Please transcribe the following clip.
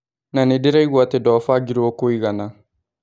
Na ndirauga atĩ ndwabangirwo kũigana.